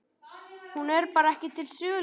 Hún er bara ekki til sölu, sagði hún.